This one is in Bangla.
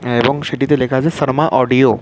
এবং সিডি -তে লেখা আছে সারমা অডিও ।